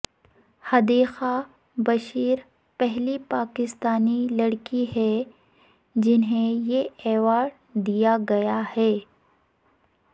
حدیقہ بشیر پہلی پاکستانی لڑکی ہیں جنھیں یہ ایوارڈ دیاگیا ہے